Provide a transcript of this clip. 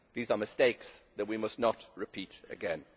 These are mistakes that we must not repeat again.